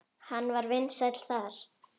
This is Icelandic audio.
Hann var vinsæll þar.